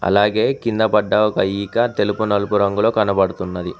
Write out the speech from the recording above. అలాగే కింద పడ్డ ఒక ఈక తెలుపు నలుపు రంగులో కనబడుతున్నది.